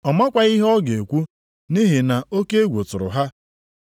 (Ọ makwaghị ihe ọ ga-ekwu nʼihi na oke egwu tụrụ ha.)